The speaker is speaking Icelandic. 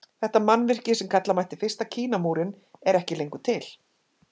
Þetta mannvirki sem kalla mætti fyrsta Kínamúrinn er ekki lengur til.